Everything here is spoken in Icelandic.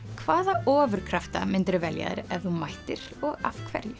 hvaða ofurkrafta myndirðu velja þér ef þú mættir og af hverju